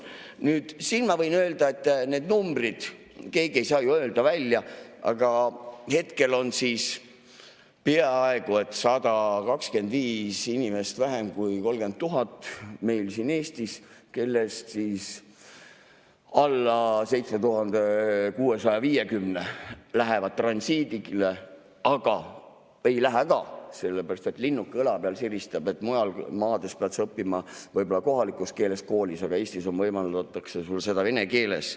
Nüüd, siin ma võin öelda, et need numbrid, keegi ei saa ju öelda välja, aga hetkel on siis 125 inimest vähem kui 30 000 meil siin Eestis, kellest alla 7650 lähevad transiidile, aga ei lähe ka, sellepärast et linnuke õla peal siristab, et mujal maades pead sa õppima võib-olla kohalikus keeles koolis, aga Eestis võimaldatakse sul seda vene keeles.